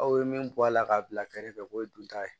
Aw ye min bɔ a la k'a bila kɛrɛfɛ o ye dunta ye